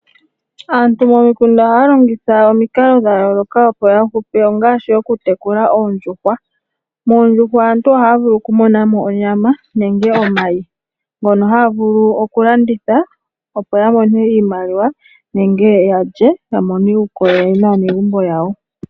Aantu momikunda ohaya longitha omikalo dha yooloka dhoku longa, Ongaashi oku tekula oondjuhwa. Moondjuhwa aantu ohaya vulu okumonamo onyama nenge omayi ngono haga vulu oku landithwa opo yamone iimaliwa nenge yalye yamone uukolele naanegumbo yawo.